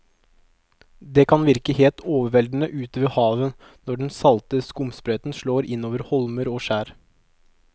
Det kan virke helt overveldende ute ved havet når den salte skumsprøyten slår innover holmer og skjær.